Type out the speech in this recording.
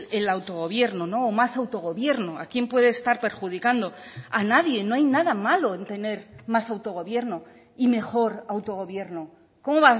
el autogobierno o más autogobierno a quién puede estar perjudicando a nadie no hay nada malo en tener más autogobierno y mejor autogobierno cómo